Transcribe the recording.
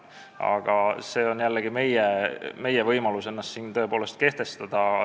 Aga meil on jällegi võimalus ennast siin kehtestada.